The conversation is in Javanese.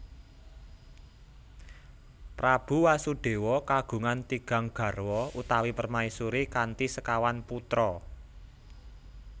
Prabu Wasudewa kagungan tigang garwa utawi permaisuri kanthi sekawan putra